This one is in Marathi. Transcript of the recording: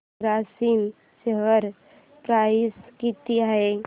ग्रासिम शेअर प्राइस किती आहे